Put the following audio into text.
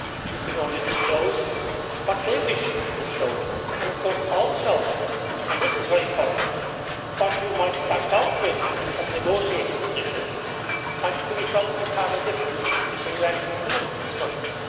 You can only disclose what they wish to disclose and of course also and this is very important what you might start out with as a negotiating position might finish up entirely different when you actually finish the discussions.